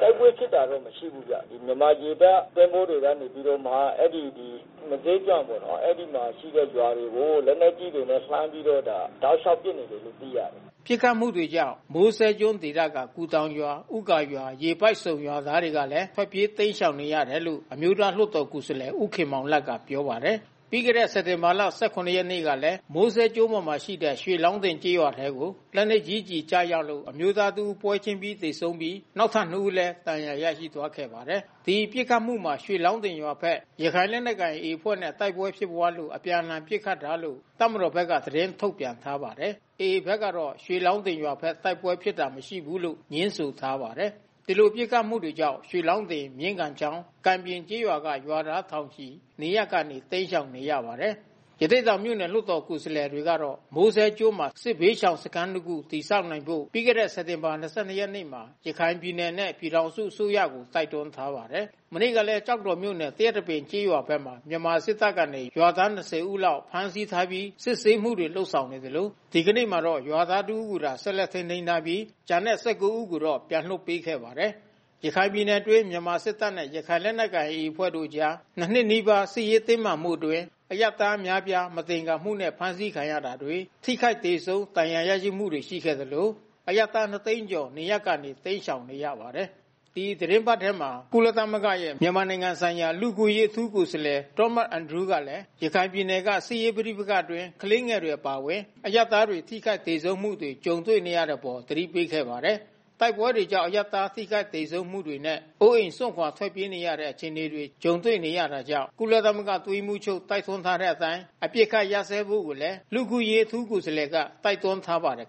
တိုက်ပွဲဖြစ်တာ မရှိဘူးဗျ။ မြန်မာရေတပ်သင်္ဘောကနေပြီးတော့ အဲဒီ မိုးစဲကျွန်းပေါ့နော်၊ အဲဒီမှာရှိတဲ့ ရွာတွေကို လက်နက်ကြီးတွေနဲ့ လှမ်းပြီးတော့ တောက်လျှောက်ပစ်နေတယ်လို့ သိရတယ်။” ပစ်ခတ်မှုတွေကြောင့် မိုးစဲကျွန်းဒေသက ကူတောင်ရွာ၊ ဦးဂါရွာ၊ ရေပိုက်ဆုံ ရွာသားတွေလည်း ထွက်ပြေးတိမ်းရှောင်နေရတယ်လို့ အမျိုးသားလွှတ်တော်ကိုယ်စားလှယ် ဦးခင်မောင်လတ်က ပြောပါတယ်။ ပြီးခဲ့တဲ့ စက်တင်ဘာ ၁၇ ရက်နေ့ကလည်း မိုးစဲကျွန်းပေါ်ရှိ ရွှေလောင်းတင်ကျေးရွာထဲကို လက်နက်ကြီးကျည် ကျရောက်လို့ အမျိုးသားတဦး ပွဲချင်းပြီး သေဆုံးပြီး နောက်ထပ် ၂ ဦးလည်း ဒဏ်ရာရရှိသွားခဲ့ပါတယ်။ ဒီပစ်ခတ်မှုမှာ ရွှေလောင်းတင်ရွာဘက် ရခိုင်လက်နက်ကိုင် AA အဖွဲ့နဲ့ တိုက်ပွဲဖြစ်ပွားလို့ အပြန်အလှန် ပစ်ခတ်တာလို့ တပ်မတောာ်ဘက်က သတင်းထုတ်ပြန်ထားပါတယ်။ AA ဘက်ကတော့ ရွှေလောင်းတင်ရွာဘက် တိုက်ပွဲဖြစ်ပွားတာ မရှိဘူးလို့ ငြင်းဆိုထားပါတယ်။ ဒီလိုပစ်ခတ်မှုကြောင့် ရွှေလောင်းတင်၊ မြင်းကန်းချောင်း၊ ကံပြင်ကျေးရွာက ရွာသားထောင်ချီ နေရပ်ကနေ တိမ်းရှောင်နေရပါတယ်။ ရသေ့တောင်မြို့နယ် လွှတ်တော်ကိုယ်စားလှယ်တွေကတော့ မိုးစဲကျွန်းမှာ စစ်ဘေးရှောင်စခန်းတခု တည်ဆောက်နိုင်ဖို့ ပြီးခဲ့တဲ့ စက်တင်ဘာ ၂၂ ရက်နေ့မှာ ရခိုင်ပြည်နယ်နဲ့ ပြည်ထောင်စုအစိုးရကိုတိုက်တွန်းထားပါတယ်။ မနေ့ကလည်း ကျောက်တော်မြို့နယ် သရက်တပင်ကျေးရွာဘက်မှာ မြန်မာစစ်တပ်ကနေ ရွာသား ၂၀ လောက် ဖမ်းဆီးထားပြီး စစ်ဆေးမှုတွေ လုပ်ဆောင်နေခဲ့သလို ဒီနေ့မှာတော့ ရွာသားတဦးကိုသာ ဆက်လက်ထိန်းသိမ်းထားပြီး ကျန်တဲ့သူ ၁၉ ဦးကိုတော့ ပြန်လွှတ်ပေးခဲ့ပါတယ်။ ရခိုင်ပြည်နယ်အတွင်း မြန်မာစစ်တပ်နဲ့ ရခိုင်လက်နက်ကိုင် AA အဖွဲ့တို့အကြား ၂ နှစ်နီးပါး စစ်ရေးတင်းမာမှုအတွင်း အရပ်သားအများအပြား မသင်္ကာမှုနဲ့ အဖမ်းဆီးခံရတာတွေ ထိခိုက်သေဆုံး ဒဏ်ရာရရှိမှု ရှိခဲ့သလို အရပ်သား ၂ သိန်းကျော် နေရပ်ကနေ တိမ်းရှောင်နေရပါတယ်။ ဒီသီတင်းပတ်ထဲမှာပဲ ကုလသမဂ္ဂရဲ့ မြန်မာနိုင်ငံဆိုင်ရာ လူ့အခွင့်အရေး အထူးကိုယ်စားလှယ် Thomas Andrews ကလည်း ရခိုင်ပြည်နယ်က စစ်ရေးပဋိပက္ခအတွင်း ကလေးငယ်တွေ အပါအဝင် အရပ်သားတွေ ထိခိုက်သေဆုံးမှုတွေ ကြုံနေရတဲ့အပေါ် သတိပေးခဲ့ပါတယ်။ တိုက်ပွဲတွေကြောင့် အရပ်သား ထိခိုက်သေဆုံးမှုတွေနဲ့ အိုးအိမ်စွန့်ခွာ ထွက်ပြေးနေရတဲ့ အခြေအနေတွေ ကြုံနေရတာကြောင့် ကုလသမဂ္ဂ အတွင်းရေးမှူးချုပ် တိုက်တွန်းထားတဲ့အတိုင်း အပစ်အခတ်ရပ်စဲကြဖို့လည်း လူ့အခွင့်အရေး အထူးကိုယ်စားလှယ်က တိုက်တွန်းထားပါတယ်